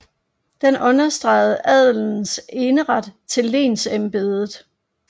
Den understregede adelens eneret til lensmandsembedet